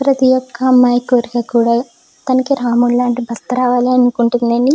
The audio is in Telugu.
ప్రతి ఒక్క అమ్మాయి కోరిక కూడా తనికి రాములాంటి భర్త రావాలనుకుంటుంది.